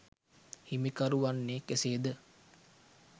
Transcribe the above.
හිමිකරු වන්නේ කෙසේද?